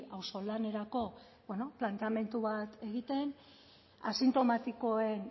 auzolanerako planteamendu bat egiten asintomatikoen